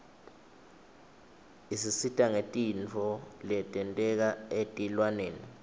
isisita ngetintfo letenteka etilwaneni